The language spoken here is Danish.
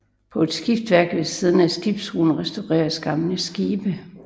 På et skibsværft ved siden af skibsbroen restaureres gamle skibe